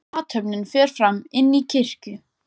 Athöfnin fer fram inni í kirkju.